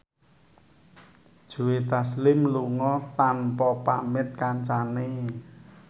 Joe Taslim lunga tanpa pamit kancane